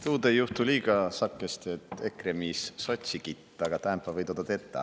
Tuud ei juhtu liiga sagõhe, et EKRE miis sotsi kitt, aga täämbä või toda tetä.